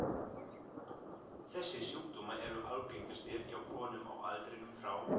Þessir sjúkdómar eru algengastir hjá konum á aldrinum frá